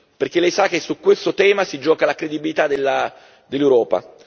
Perché Lei sa che su questo tema si gioca la credibilità dell'Europa.